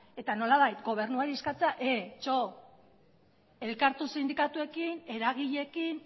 eta nolabait gobernuari eskatzea elkartu sindikatuekin eragileekin